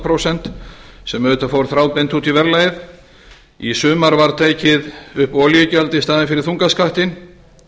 prósent sem auðvitað fór þráðbeint út í verðlagið í sumar var tekið upp olíugjald í staðinn fyrir þungaskattinn